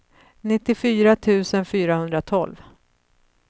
nittiofyra tusen fyrahundratolv